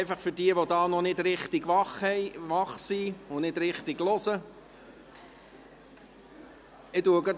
Einfach für diejenigen, die noch nicht richtig wach sind und noch nicht richtig zuhören.